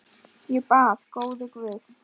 Ég bað: Góði Guð.